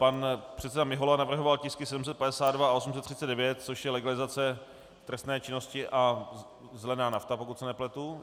Pan předseda Mihola navrhoval tisky 752 a 839, což je legalizace trestné činnosti a zelená nafta, pokud se nepletu.